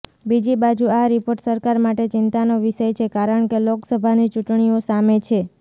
બીજી બાજુ આ રિપોર્ટ સરકાર માટે ચિંતાનો વિષય છે કારણ કે લોકસભાની ચૂંટણીઓ સામે છે